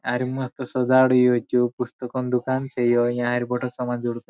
आ मात सजाड़ रयो या पुस्तको नी दुकान छे यहाँ समान जड़ --